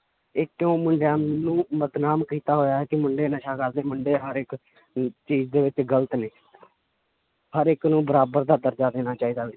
ਇਹ ਕਿਉਂ ਮੁੰਡਿਆਂ ਨੂੰ ਬਦਨਾਮ ਕੀਤਾ ਹੋਇਆ ਹੈ ਕਿ ਮੁੰਡੇ ਨਸ਼ਾ ਕਰਦੇ ਮੁੰਡੇ ਹਰ ਇੱਕ ਅਮ ਚੀਜ਼ ਦੇ ਵਿੱਚ ਗ਼ਲਤ ਨੇ ਹਰ ਇੱਕ ਨੂੰ ਬਰਾਬਰ ਦਾ ਦਰਜ਼ਾ ਦੇਣਾ ਚਾਹੀਦਾ